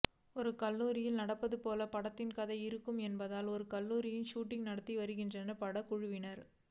ஒரு கல்லூரியில் நடப்பது போல படத்தின் கதை இருக்கும் என்பதால் ஒரு கல்லூரியில் ஷூட்டிங் நடத்தி வருகின்றனர் படக்குழுவினர்